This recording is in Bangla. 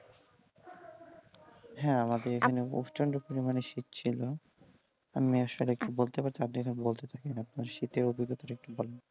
হ্যাঁ আমাদের এইখানে প্রচণ্ড পরিমাণে শীত ছিল শীতের অভিজ্ঞতাটা একটু বলেন।